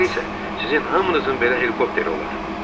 Sonra isə sizin hamınızın belə helikopteri olar.